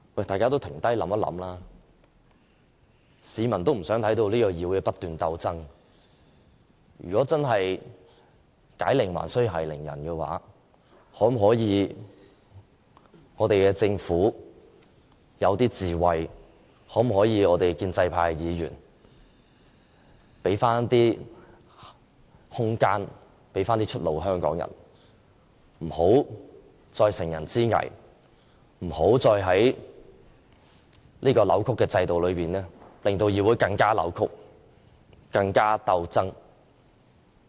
大家都停一停、想一想，市民也不想看到議會不斷鬥爭，解鈴還須繫鈴人，政府可否有些智慧，建制派議員可否給一些空間，給香港人一條出路，不要再乘人之危，不要再在這個扭曲的制度裏面令議會更形扭曲，加劇鬥爭。